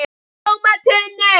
TÓMA TUNNU!